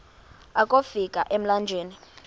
akofi ka emlanjeni